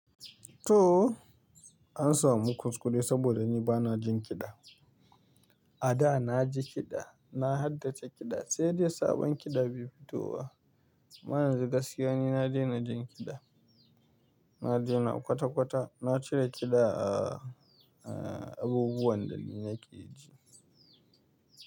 To, an samu kuskure saboda ni bana jin kiɗa. A da na ji kiɗa, na haddace kiɗa sai dai sabon kiɗa bai fito ba. Amma yanzu gaskiya ni na daina jin kiɗa. Na daina kwata-kwata, na cire kiɗa a, a abubuwan da nake ji.